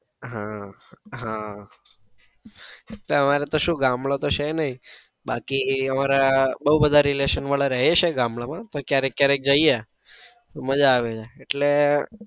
આહ આહ એટલે અમારે તો શું ગામડું તો છે નાઈ બાકી અમારા બૌ બધા રહે છે relation વાળા રહે છે ગામડા માં પણ ક્યારેક ક્યારેક જઈએ તો માજા આવે છે.